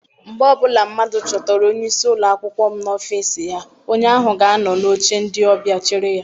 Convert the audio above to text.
Mgbe ọbụla mmadụ chọtara onyeisi ụlọakwụkwọ m n'ọfịịsi ya, onye ahụ ga anọ n'oche ndị ọbịa chere ya.